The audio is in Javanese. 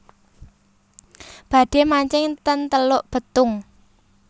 Badhe mancing ten Teluk Betung